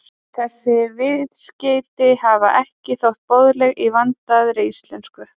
Þessi viðskeyti hafa ekki þótt boðleg í vandaðri íslensku.